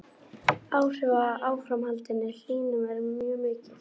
Áhrif af áframhaldandi hlýnun eru mjög mikil.